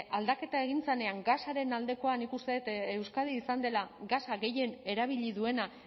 aldaketa egin zenean gasaren aldekoa nik uste dut euskadi izan dela gasa gehien erabili duena